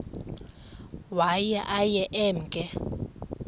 waye aye emke